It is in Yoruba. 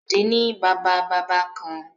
Bọ̀dé ni Bàbá-bàbá kan.